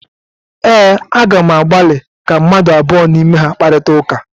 ee, Aga m agbalị ka mmadụ abụọ n’ime ha kparịta ụka